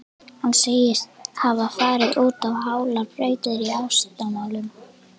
Hann segist hafa farið út á hálar brautir í ástamálum.